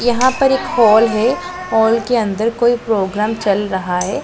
यहां पर एक हॉल है हॉल के अंदर कोई प्रोग्राम चल रहा है।